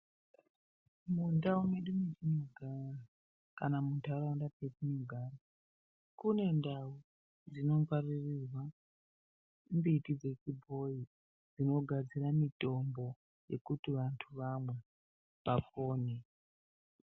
Mundau medu matinogara kana mundaraunda medu matinogara kune ndau dzinofarirwa mbiti dzechibhoyi dzinogadzira mitombo Yekuti vantu vamwe vapone.